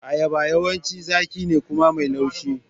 Ayaba yawanci zaƙi ne kuma mai laushi.